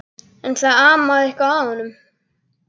En það amaði eitthvað að honum.